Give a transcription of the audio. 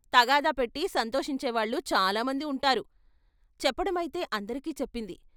తగాదా పెట్టి సంతోషించే వాళ్ళు చాలా మంది ఉంటారు చెప్పడమైతే అందరికీ చెప్పింది.